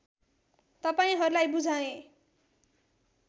तपाइहरूलाई बुझाएँ